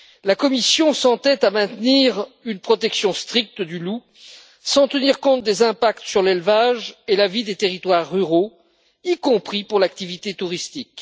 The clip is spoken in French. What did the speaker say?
La Commission s'entête à maintenir une protection stricte du loup, sans tenir compte des impacts sur l'élevage et la vie des territoires ruraux, y compris pour l'activité touristique.